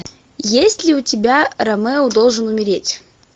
есть ли у тебя ромео должен умереть